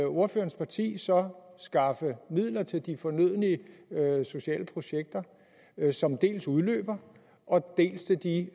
ordførerens parti så skaffe midler dels til de fornødne sociale projekter som udløber dels til de